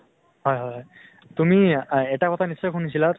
হয় হয় হয় । তুমি এটা কথা নিশ্চয় শুনিছিলা